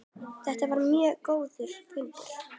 Þetta var mjög góður fundur.